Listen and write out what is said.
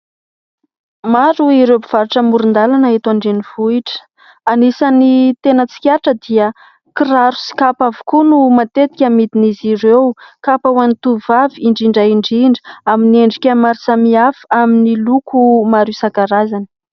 Maro ireo mpivarotra amoron-dalana eto Andrenivohitra anisany tena tsikaritra dia kiraro sy kapa avokoa no matetika amidin'izy ireo, kapa ho an'ny tovovavy indrindra indrindra amin'ny endrika maro samihafa, amin'ny loko maro isankarazany.